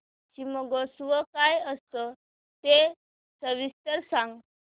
शिमगोत्सव काय असतो ते सविस्तर सांग